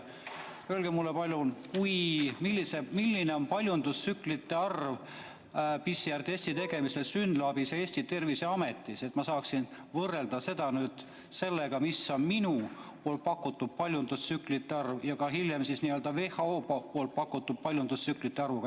Öelge mulle palun, milline on paljundustsüklite arv PCR-testi tegemisel SYNLAB-is ja Eesti Terviseametis, et ma saaksin seda võrrelda enda pakutud paljundustsüklite arvuga ja ka WHO pakutud paljundustsüklite arvuga.